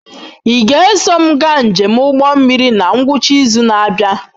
Ị ga-eso m gaa njem ụgbọ mmiri na ngwụcha izu na-abịa?